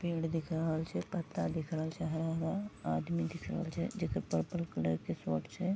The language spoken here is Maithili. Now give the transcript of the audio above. पेड़ दिख रहल छे पत्ता दिख रहल छे हरा-हरा आदमी दिख रहल छे जेकर पर्पल कलर के शर्ट छे।